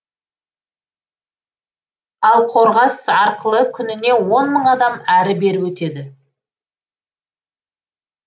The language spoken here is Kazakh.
ал қорғас арқылы күніне он мың адам әрі бері өтеді